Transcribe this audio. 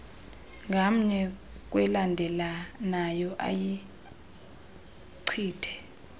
ngamnye kwelandelelanayo ayichithe